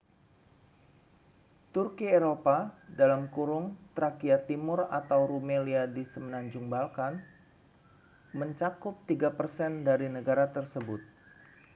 turki eropa trakia timur atau rumelia di semenanjung balkan mencakup 3% dari negara tersebut